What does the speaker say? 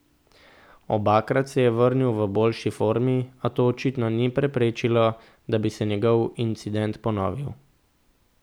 Obakrat se je vrnil v boljši formi, a to očitno ni preprečilo, da bi se njegov incident ponovil.